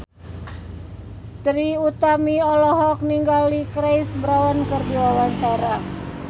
Trie Utami olohok ningali Chris Brown keur diwawancara